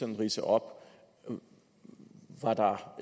ridse op om